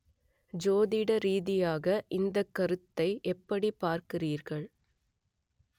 ஜோதிட ரீதியாக இந்தக் கருத்தை எப்படிப் பார்க்கிறீர்கள்